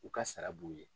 U ka sara b'u ye